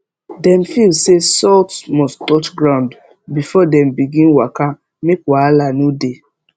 dem feel say salt must touch ground before dem begin waka make wahala no dey